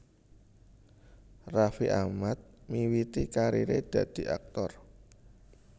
Raffi Ahmad miwiti kariré dadi aktor